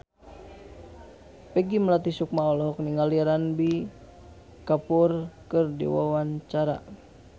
Peggy Melati Sukma olohok ningali Ranbir Kapoor keur diwawancara